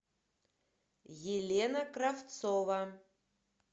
елена кравцова